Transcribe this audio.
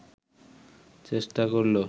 চেষ্টা করল